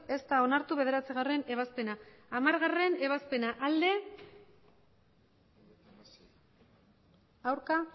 ez da onartu bederatzigarrena ebazpena hamargarrena ebazpena emandako